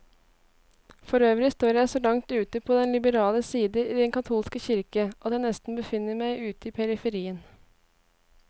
Forøvrig står jeg så langt ute på den liberale side i den katolske kirke, at jeg nesten befinner meg ute i periferien.